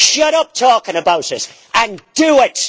Shut up talking about it and do it!